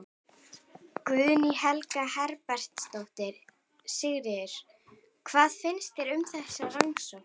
Guðný Helga Herbertsdóttir: Sigurður, hvað finnst þér um þessa rannsókn?